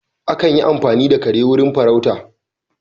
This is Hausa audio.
Akan yi amfani da kare wurin farauta